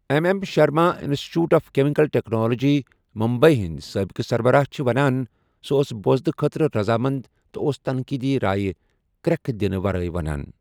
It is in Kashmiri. M M Sharma institute of chemical technology ,Mumbai ہٗند سٲبقہٕ سربراہ چھٗ ونان ،' سوٗ اوس بوزنہٕ خٲطرٕ رضامند تہٕ اوس تنقیدی رایہ كریكہٕ دِنہٕ ورٲیہ ونان '۔